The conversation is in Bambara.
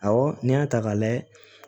Awɔ n'i y'a ta k'a layɛ